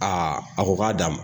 Aa a ko k'a d'a ma